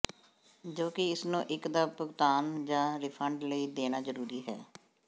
ਜੋ ਕਿ ਇਸ ਨੂੰ ਇੱਕ ਦਾ ਭੁਗਤਾਨ ਜ ਰਿਫੰਡ ਲਈ ਦੇਣਾ ਜਰੂਰੀ ਹੈ